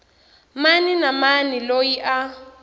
mani na mani loyi a